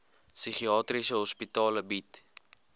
psigiatriese hospitale bied